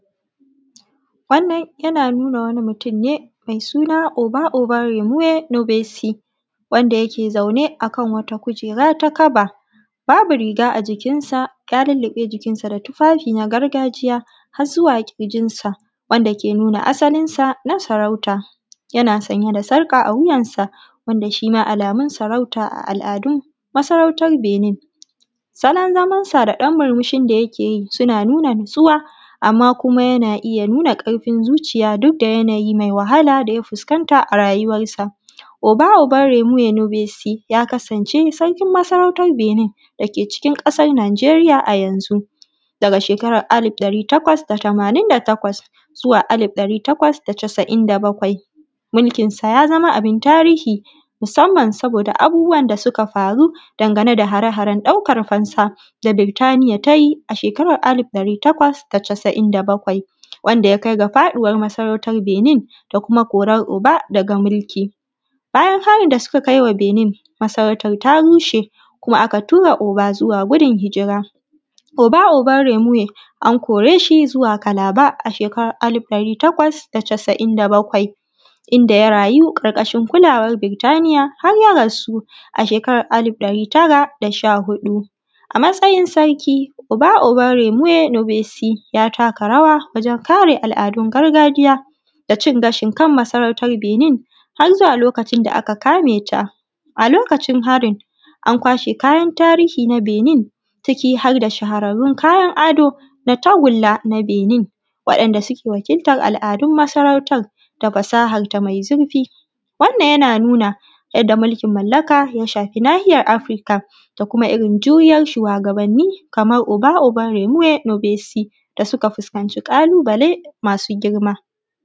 Wannan yana nuna wani mutum ne mai suna Oba Oba Remoye Nubesi ,wanda yake zaune akan wata kujera ta kaba, babu riga a jikinsa, ya luluɓe jikinsa da tufafi na gargajiya har zuwa ƙirjinsa, wanda ke nuna asalinsa na sarauta. Yana sanye da sarƙa a wuyansa, wanda shima alamun sarauta a al’adun masarautan Benin. Salon zamansa da dan murmushin da yake yi suna nuna nutsuwa amma kuma yana iya nuna ƙarfin zuciya duk da yana yi mai wahala daya fuskanta a rayuwarsa. Oba Oba Remoyon Besi, ka kasance sarkin masarautan Benin dake cikin ƙasar nijeriya a yanzu, daga shekaran alif dari takwas da tamanin da takwas zuwa alif tari takwas da ca’in da bakwai. Mulkinsa ya zamo abin tarihi, musamman saboda abubuwan da suka faru, dangane da hare-haren ɗaukan fansa da Burtaniya tayi a shekaran alif ɗari takwas da casa’in da bakwai, wanda ya kai ga faɗuwar masarautan Benin da kuma korar Oba daga mulki. Bayan harin da suka kaiwa Benin, masarautar ta rushe kuma aka tura Oba zuwa gudun hijira. Oba Oba remiwe, an kore shi zuwa kalaba a shekarar alif ɗari takwas da da ca’in da bakwai, inda ya rayu ƙarƙashin kulawar Birtaniya har ya rasu a shekarar alif ɗari tara da sha hudu. A matsayin sarkı Oba Oba remiwe nubesi, ya taka rawa wajen kare al’adun gargajiya da cin gashin kan masarautan Benin har zuwa lokacin da aka kameta. A lokacin harin an kwashe kayan tarihi na Benin, ciki har da shahararrun kayan ado da tagula ta Benin, waɗanda suke wakiltar al’adun masarautan da fasahanta mai zufi. Wannan yana nuna yadda mulkin mallaka ya shafi nahiyar afrika, da kuma irin juriyar shuwagabani, kamar Oba Oba Remiye Nobesi da suka fuskanci ƙalubale masu girma.